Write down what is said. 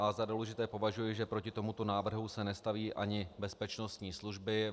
Za důležité považuji, že proti tomuto návrhu se nestaví ani bezpečnostní služby.